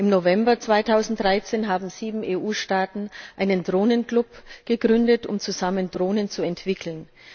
Im November 2013 haben sieben EU Staaten einen Drohnenclub gegründet, um zusammen Drohnen zu entwickeln.